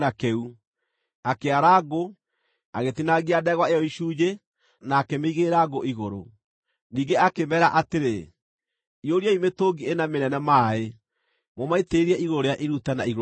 Akĩara ngũ, agĩtinangia ndegwa ĩyo icunjĩ, na akĩmĩigĩrĩra ngũ igũrũ. Ningĩ akĩmeera atĩrĩ, “Iyũriai mĩtũngi ĩna mĩnene maaĩ, mũmaitĩrĩrie igũrũ rĩa iruta na igũrũ rĩa ngũ.”